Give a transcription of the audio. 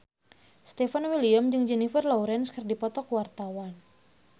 Stefan William jeung Jennifer Lawrence keur dipoto ku wartawan